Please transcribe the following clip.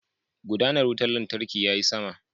Gudanar wutar lantarkin yayi sama.